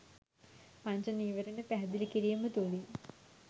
පංච නීවරණ පැහැදිලි කිරීම තුළින්.